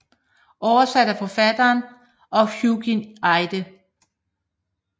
Oversat af forfatteren og Hugin Eide